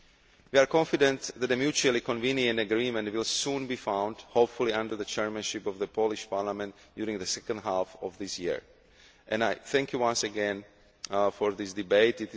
We are confident that a mutually convenient agreement will soon be found, hopefully under the chairmanship of the Polish Parliament during the second half of this year. I thank you once again for this debate.